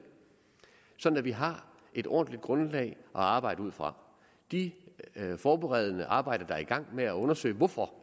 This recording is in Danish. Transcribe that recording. sådan at vi har et ordentligt grundlag at arbejde ud fra de forberedende arbejder er i gang med at undersøge hvorfor